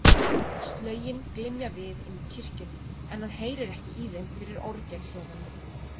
Slögin glymja við inni í kirkjunni, en hann heyrir ekki í þeim fyrir orgelhljómunum.